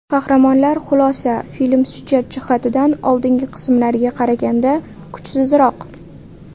Qahramonlar Xulosa: Film syujet jihatidan oldingi qismlariga qaraganda kuchsizroq.